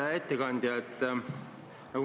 Hea ettekandja!